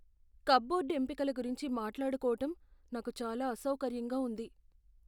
Cupboard ఎంపికల గురించి మాట్లాడుకోవటం నాకు చాలా అసౌకర్యంగా ఉంది.